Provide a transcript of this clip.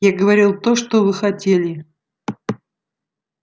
я говорил то что вы хотели